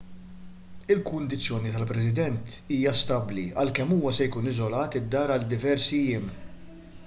il-kundizzjoni tal-president hija stabbli għalkemm huwa se jkun iżolat id-dar għal diversi jiem